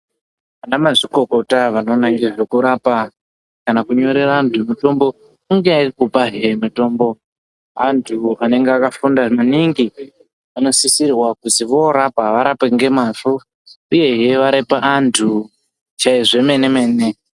Ana mazvikokota anoona ngezvekurapa kana kunyorera antu mutombo kungakupahe mutombo antu anonga akafunda maningi. Anosisirwa kuzi vorapa varape ngemazvo uyehe varape antu zvemene-mene.